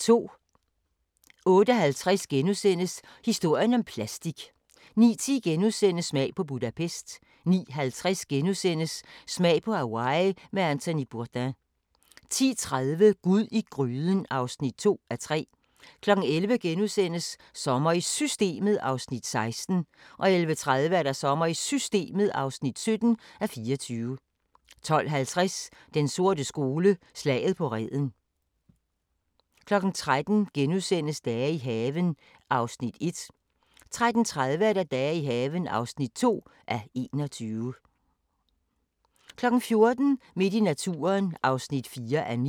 08:50: Historien om plastik * 09:10: Smag på Budapest * 09:50: Smag på Hawaii med Anthony Bourdain * 10:30: Gud i gryden (2:3) 11:00: Sommer i Systemet (16:24)* 11:30: Sommer i Systemet (17:24) 12:50: Den sorte skole: Slaget på Reden 13:00: Dage i haven (1:21)* 13:30: Dage i haven (2:21) 14:00: Midt i naturen (4:9)